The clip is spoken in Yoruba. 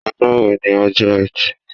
Ọjọ́ wo ni ọjọ́ etí